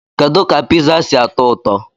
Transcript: Kedu ka Pizza si atọ ụtọ?